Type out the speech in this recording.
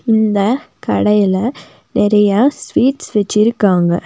இந்த கடையில நெறையா ஸ்வீட்ஸ் வெச்சிருக்காங்க.